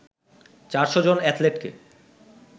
৪০০ জন এথলেটকে